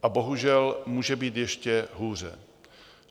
A bohužel, může být ještě hůře.